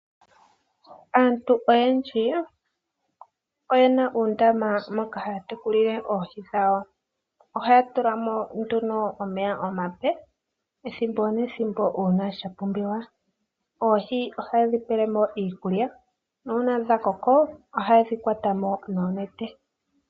Aantu oyendji oyena uundama moka haa tekulile oohi dhawo. Ohaa tula mo omeya omape ethimbo nethimbo uuna sha pumbiwa. Oohi ohaye dhi pele mo iikulya, na uuna dha koko ohaye dhi kwata mo nuunete.